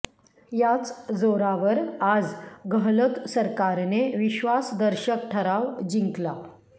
याच जोरावर आज गहलोत सरकारने विश्वासदर्शक ठराव जिंकला